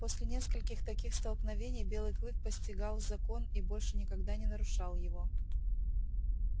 после нескольких таких столкновений белый клык постигал закон и больше никогда не нарушал его